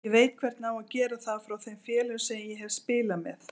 Ég veit hvernig á að gera það frá þeim félögum sem ég hef spilað með.